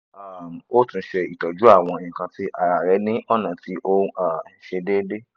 um o tun ṣe itọju awọn nkan ti ara rẹ ni ọna ti o um n ṣe deede